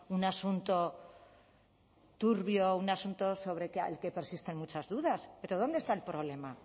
un asunto turbio un asunto sobre el que persisten muchas dudas pero dónde está el problema